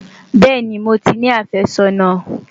bẹẹni, mó tí ní afe sónà